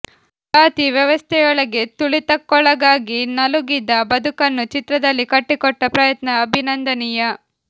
ಜಾತಿ ವ್ಯವಸ್ಥೆಯೊಳಗೆ ತುಳಿತಕ್ಕೊಳಗಾಗಿ ನಲುಗಿದ ಬದುಕನ್ನು ಚಿತ್ರದಲ್ಲಿ ಕಟ್ಟಿಕೊಟ್ಟ ಪ್ರಯತ್ನ ಅಭಿನಂದನೀಯ